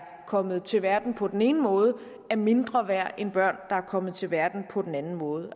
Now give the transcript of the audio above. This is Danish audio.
kommet til verden på den ene måde er mindre værd end børn der er kommet til verden på den anden måde